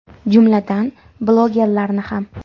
Jumladan, blogerlarni ham.